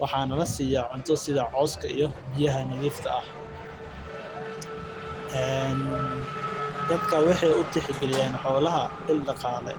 waxaa lasiiya cooska iyo biya nadiif ah waa il daqaale